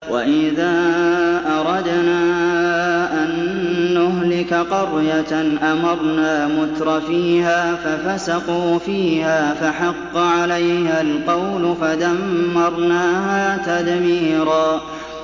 وَإِذَا أَرَدْنَا أَن نُّهْلِكَ قَرْيَةً أَمَرْنَا مُتْرَفِيهَا فَفَسَقُوا فِيهَا فَحَقَّ عَلَيْهَا الْقَوْلُ فَدَمَّرْنَاهَا تَدْمِيرًا